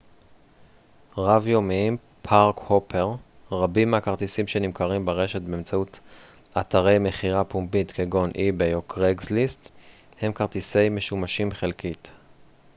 רבים מהכרטיסים שנמכרים ברשת באמצעות אתרי מכירה פומבית כגון איביי או קרייגסליסט הם כרטיסי park-hopper רב-יומיים משומשים חלקית